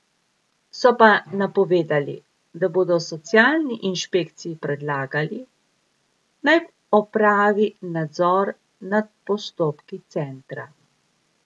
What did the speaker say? So pa napovedali, da bodo socialni inšpekciji predlagali, naj opravi nadzor nad postopki centra.